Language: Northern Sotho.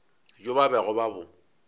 bjo ba bego ba bo